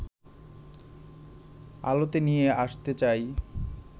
আলোতে নিয়ে আসতে চাই